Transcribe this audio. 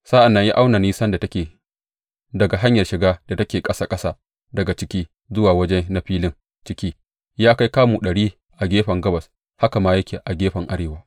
Sa’an nan ya auna nisan da take daga hanyar shiga da take ƙasa ƙasa daga ciki zuwa waje na filin ciki; ya kai kamu ɗari a gefen gabas haka ma yake a gefen arewa.